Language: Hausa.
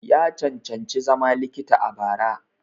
Ya cancanci zama likita a bara.